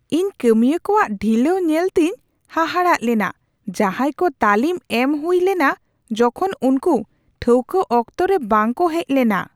ᱤᱧ ᱠᱟᱹᱢᱤᱭᱟᱹ ᱠᱚᱣᱟᱜ ᱰᱷᱤᱞᱟᱹᱣ ᱧᱮᱞᱛᱮᱧ ᱦᱟᱦᱟᱲᱟᱜ ᱞᱮᱱᱟ ᱡᱟᱦᱟᱸᱭ ᱠᱚ ᱛᱟᱹᱞᱤᱢ ᱮᱢ ᱦᱩᱭ ᱞᱮᱱᱟ ᱡᱚᱠᱷᱚᱱ ᱩᱱᱠᱩ ᱴᱷᱟᱹᱣᱠᱟᱹ ᱚᱠᱛᱚ ᱨᱮ ᱵᱟᱝ ᱠᱚ ᱦᱮᱡ ᱞᱮᱱᱟ ᱾